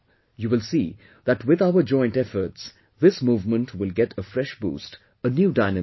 You will see that with our joint efforts, this movement will get a fresh boost, a new dynamism